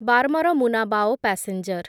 Barmer Munabao passenger